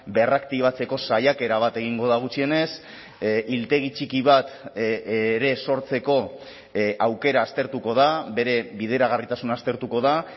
berraktibatzeko saiakera bat egingo da gutxienez hiltegi txiki bat ere sortzeko aukera aztertuko da bere bideragarritasuna aztertuko da